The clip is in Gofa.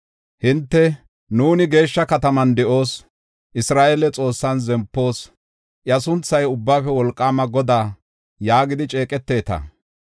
Hinte, ‘Nuuni geeshsha kataman de7oos; Isra7eele Xoossan zempoos; iya sunthay Ubbaafe Wolqaama Godaa’ ” yaagidi ceeqeteta.